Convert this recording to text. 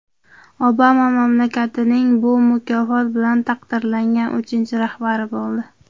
Obama mamlakatning bu mukofot bilan taqdirlangan uchinchi rahbari bo‘ldi.